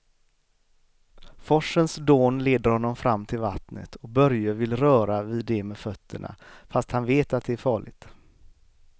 Forsens dån leder honom fram till vattnet och Börje vill röra vid det med fötterna, fast han vet att det är farligt.